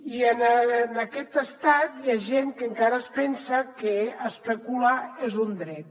i en aquest estat hi ha gent que encara es pensa que especular és un dret